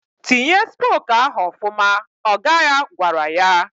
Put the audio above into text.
"Tinye spok ahụ ọfụma!" ọga ya gwara ya.